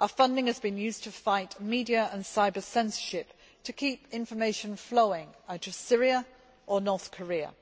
our funding has been used to fight media and cyber censorship to keep information flowing out of Syria or North Korea